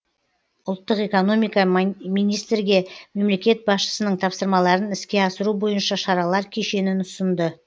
ұлттық экономика министрге мемлекет басшысының тапсырмаларын іске асыру бойынша шаралар кешенін ұсынды